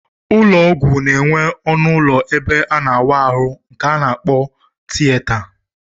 Ụlọọgwụ na-enwe ọnụụlọ ebe a na-awa ahụ nke a kpọrọ tiyeta